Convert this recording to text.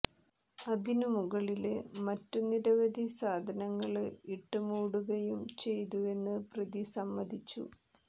അതിനു മുകളില് മറ്റുനിരവധി സാധനങ്ങള് ഇട്ട് മൂടുകയും ചെയ്തുവെന്ന് പ്രതി സമ്മതിച്ചു